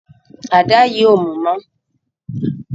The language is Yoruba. Àdá yí o mú mọ